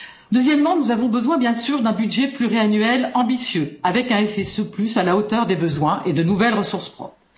Deuxièmement, nous avons besoin, bien sûr, d'un budget pluriannuel ambitieux, avec un FSE à la hauteur des besoins et de nouvelles ressources propres.